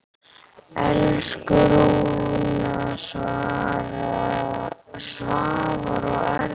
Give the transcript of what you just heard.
Elsku Rúna, Svavar og Erna.